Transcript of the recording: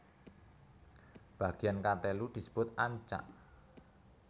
Bagean katelu disebut ancak